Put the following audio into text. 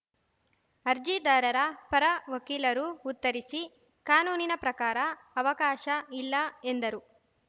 ಅರ್ಜಿದಾರರ ಪರ ವಕೀಲರು ಉತ್ತರಿಸಿ ಕಾನೂನಿನ ಪ್ರಕಾರ ಅವಕಾಶ ಇಲ್ಲ ಎಂದರು